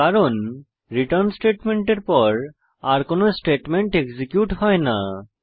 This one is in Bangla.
কারণ রিটার্ন স্টেটমেন্টের পর আর কোনো স্টেটমেন্ট এক্সিকিউট হয় না